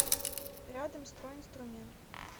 рядом стройинструмент